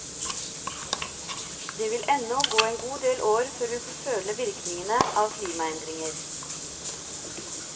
Det vil ennå gå en god del år før vi får føle virkningene av klimaendringer.